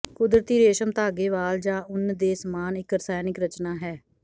ਕੁਦਰਤੀ ਰੇਸ਼ਮ ਧਾਗੇ ਵਾਲ ਜ ਉੱਨ ਦੇ ਸਮਾਨ ਇੱਕ ਰਸਾਇਣਕ ਰਚਨਾ ਹੈ